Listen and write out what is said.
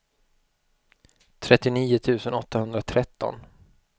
trettionio tusen åttahundratretton